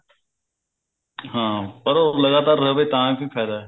ਹਾਂ ਪਰ ਉਹ ਲਗਾਤਾਰ ਰਹੇ ਤਾਂ ਕੀ ਫਾਇਦਾ